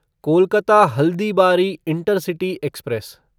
Kolkata Haldibari intercity express